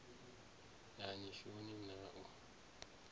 a ni shoni na u